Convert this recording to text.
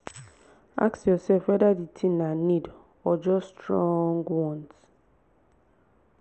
ask yourself whether the thing na need or just strong want.